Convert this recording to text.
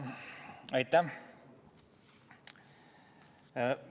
Aitäh!